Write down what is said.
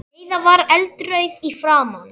Heiða var eldrauð í framan.